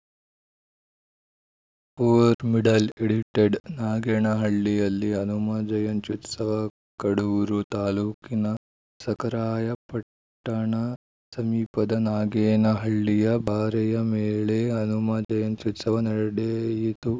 four middle edited ನಾಗೇನಹಳ್ಳಿಯಲ್ಲಿ ಹನುಮ ಜಯಂತ್ಯುತ್ಸವ ಕಡೂರು ತಾಲೂಕಿನ ಸಖರಾಯಪಟ್ಟಣ ಸಮೀಪದ ನಾಗೇನಹಳ್ಳಿಯ ಬಾರೆಯ ಮೇಲೆ ಹನುಮ ಜಯಂತ್ಯುತ್ಸವ ನಡೆಯಿತು